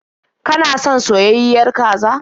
Kana son soyayyiyar kaza?